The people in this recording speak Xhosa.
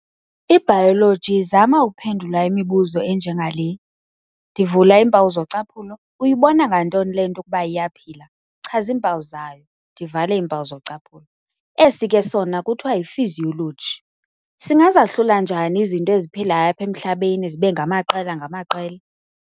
IBayologi izama ukuphendula imibuzo enje ngale, ndivula iimpawu zocaphulo, "Uyibona ngantoni le nto ukuba iyaphila? chaza iimpawu zayo." Ndivala iimpawu zochaphula. Esi ke sona kuthiwa yi"physiology", "Singazahlula njani izinto eziphilayo apha emhlabeni zibe ngamaqela-ngamaqela?